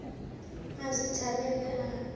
a se thabe ge a